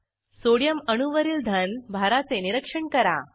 sodium अणूवरील धन भाराचे निरीक्षण करा